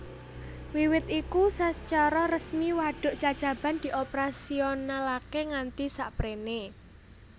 Wiwit iku sacara resmi wadhuk Cacaban dioperasionalakè nganti sapréné